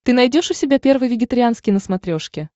ты найдешь у себя первый вегетарианский на смотрешке